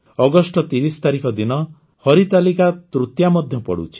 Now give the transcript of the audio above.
August ୩୦ ତାରିଖ ଦିନ ହରିତାଳିକା ତୃତୀୟା ମଧ୍ୟ ପଡ଼ୁଛି